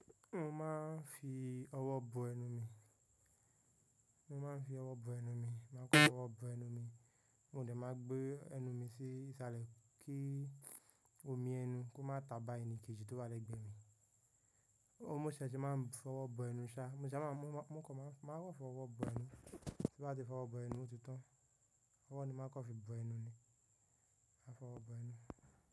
Mo máa ń fi ọwọ́ bọ ẹnu mi, mo máa ń fi ọwọ́ bọ ẹnu mi, màá kọ́ ọwọ́ bọ ẹnu mi, mo dẹ̀ máa gbé ẹnu mi sí ìsàlẹ̀ kí omi ẹnu kó má ta bá ẹni kejì tó wà lẹ́gbẹ̀ẹ́ mi. Óún ṣẹ̀ ṣe máa ń fọwọ́ bọ ẹnu ṣá, mo ṣá máa ń mú ọkọ̀ máa ń rọ̀ fọwọ́ bọ ẹnu. Tí bá ti fọwọ́ bọ ẹnu ti tán, ọwọ́ ni máa ń kọ fi bọ ẹnu ni, máa fọwọ́ bọ ẹnu.